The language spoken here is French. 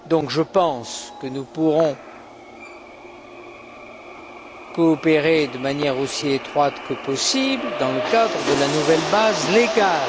Je pense donc que nous pourrons coopérer de manière aussi étroite que possible dans le cadre de la nouvelle base légale.